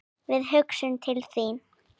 Við hugsum til þín.